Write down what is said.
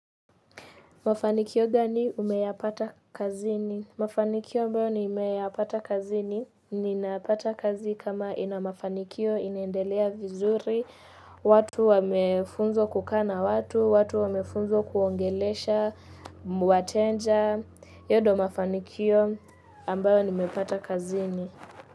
Mafanikio gani umeyapata kazini? Mafanikio ambayo nimeyapata kazini. Ninapata kazi kama ina mafanikio, inaendelea vizuri, watu wamefunzwa kukaa na watu, watu wamefunzwa kuongelesha wateja, hiyo ndo mafanikio ambayo nimepata kazini.